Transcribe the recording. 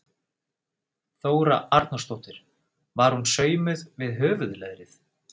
Þóra Arnórsdóttir: Var hún saumuð við höfuðleðrið?